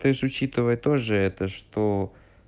ты ж учитывая тоже это что